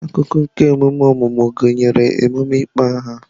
Akụkụ nke emume ọmụmụ gụnyere emume ịkpọ aha.